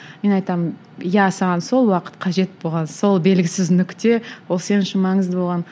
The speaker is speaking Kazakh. мен айтамын иә саған сол уақыт қажет болған сол белгісіз нүкте ол сен үшін маңызды болған